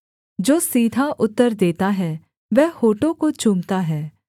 जो सीधा उत्तर देता है वह होठों को चूमता है